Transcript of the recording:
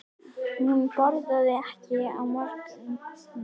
Hún borðar ekki á morgnana.